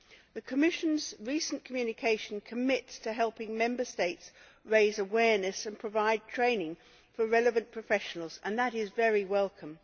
The Commission's recent communication commits to helping Member States raise awareness and provide training for relevant professionals, and that is very welcome.